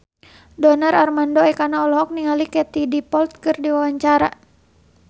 Donar Armando Ekana olohok ningali Katie Dippold keur diwawancara